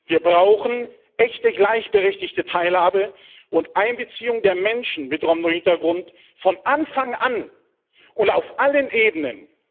Wir brauchen echte gleichberechtigte Teilhabe und Einbeziehung der Menschen mit Roma Hintergrund von Anfang an und auf allen Ebenen.